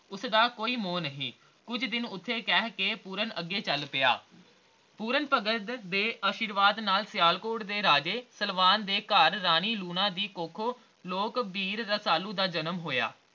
ਉਸਦਾ ਕੋਈ ਮੋਹ ਨਹੀਂ ਕੁਛ ਦਿਨ ਉਥ੍ਹੇ ਕਹਿ ਕੇ ਪੂਰਨ ਅੱਗੇ ਚੱਲ ਪਿਆ ਪੂਰਨ ਭਗਤ ਦੇ ਆਸ਼ੀਰਵਾਦ ਨਾਲ ਸਿਆਲਕੋਟ ਦੇ ਰਾਜੇ ਸਲਵਾਨ ਦੇ ਘਰ ਰਾਣੀ ਲੂਣਾ ਦੀ ਕੁੱਖੋਂ ਲੋਕ ਬੀਰ ਰਸਾਲੂ ਦਾ ਜਨਮ ਹੋਇਆ